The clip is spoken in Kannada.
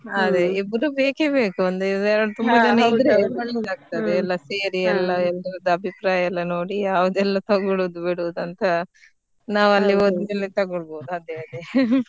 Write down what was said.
ಅದೇ ಇಬ್ರು ಬೇಕೇ ಬೇಕು ಒಂದೇ ತುಂಬಾ ಜನ ಇದ್ರೆ ಒಳ್ಳೆದಾಗ್ತದೆ ಎಲ್ಲ ಸೇರಿ ಎಲ್ರದು ಅಭಿಪ್ರಾಯ ಎಲ್ಲ ನೋಡಿ ಅದೇಲ್ಲ ತಗೋಳೋದ ಬಿಡೋದ ಅಂತ ನಾವಲ್ಲಿ ಹೋದ್ ಮೇಲೆ ತಗೋಳೋಬಹುದು ಅದೇ ಅದೇ .